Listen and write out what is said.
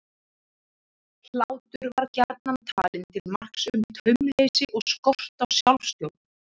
Hlátur var gjarnan talinn til marks um taumleysi og skort á sjálfstjórn.